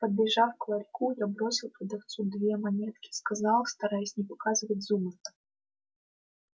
подбежав к ларьку я бросил продавцу две монетки сказал стараясь не показывать зубы